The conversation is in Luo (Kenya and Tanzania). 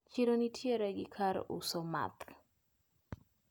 Chiro nitiere gi kar uso math.